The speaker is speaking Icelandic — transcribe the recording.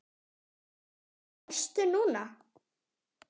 Ertu á föstu núna?